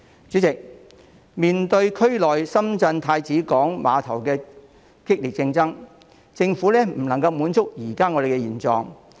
主席，面對大灣區內深圳太子灣郵輪母港的激烈競爭，政府不能夠安於現狀。